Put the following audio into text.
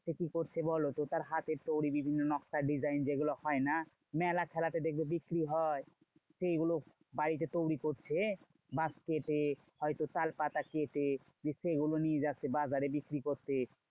সে কি করছে বলতো? তার হাতের তৈরী বিভিন্ন নকশায় design হয় না? মেলা খেলাতে দেখবে বিক্রি হয়। সেগুলো বাড়িতে তৈরী করছে। বাঁশ কেটে হয়তো তালপাতা কেটে যে সেগুলো নিয়ে যাচ্ছে বাজারে বিক্রি করতে।